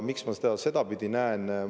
Miks ma seda sedapidi näen?